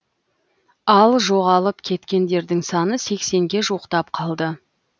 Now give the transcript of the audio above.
ал жоғалып кеткендердің саны сексенге жуықтап қалды